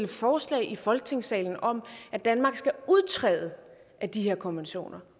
forslag i folketingssalen om at danmark skal udtræde af de her konventioner